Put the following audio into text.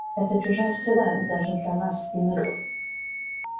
это чужая среда даже для нас иных